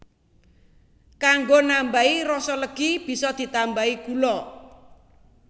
Kanggo nambahi rasa legi bisa ditambahi gula